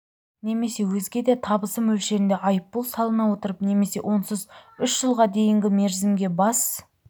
немесе өзге де табысы мөлшерінде айыппұл салына отырып немесе онсыз үш жылға дейінгі мерзімге бас